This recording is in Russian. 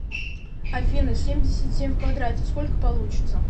афина семьдесят семь в квадрате сколько получится